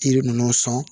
Yiri ninnu sɔn